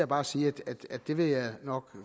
bare sige at det vil jeg nok